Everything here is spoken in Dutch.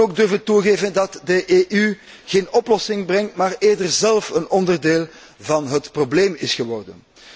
We moeten ook durven toegeven dat de EU geen oplossing brengt, maar eerder zelf een onderdeel van het probleem is geworden.